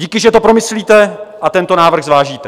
Díky, že to promyslíte a tento návrh zvážíte.